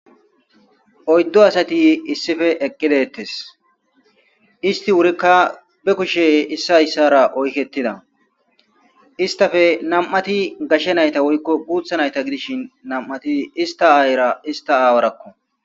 Oyddo asati issife eqqidettes isti wurikka be kushe issayssara oykettida istafe nam7ati gashshe nayta woykko guutha nayta gidishin nam7ati ista aayira ista aawarakko.